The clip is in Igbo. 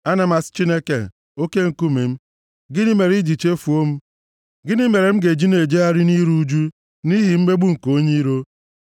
Ana m asị Chineke, oke nkume m, “Gịnị mere i ji chefuo m? Gịnị mere m ga-eji na-ejegharị nʼiru ụjụ nʼihi mmegbu nke onye iro?”